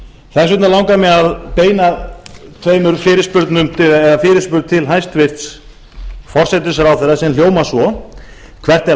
þess vegna langar mig til að beina fyrirspurn til hæstvirts forsætisráðherra sem hljóðar svo hvert er